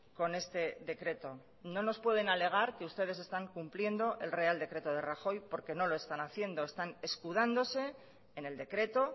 con este decreto no nos pueden alegar que ustedes están cumpliendo el real decreto de rajoy porque no lo están haciendo están escudándose en el decreto